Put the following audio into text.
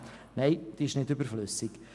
Ist diese Motion nun überflüssig?